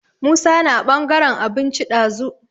Musa na ɓangaran abinci ɗazu.